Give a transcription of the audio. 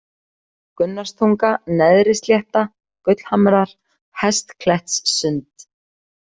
Gunnarstunga, Neðrislétta, Gullhamrar, Hestklettssund